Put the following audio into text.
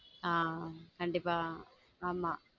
ஹம் கண்டிப்பா ஆமா